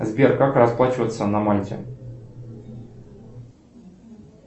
сбер как расплачиваться на мальте